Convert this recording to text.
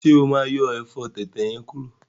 Ṣe o ma yọ ẹfọ tẹ̀tẹ̀ yẹn kuro?